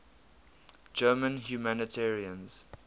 german humanitarians